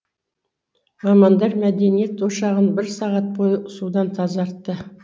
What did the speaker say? мамандар мәдениет ошағын бір сағат бойы судан тазартты